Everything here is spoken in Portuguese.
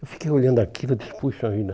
Eu fiquei olhando aquilo, eu disse, puxa vida.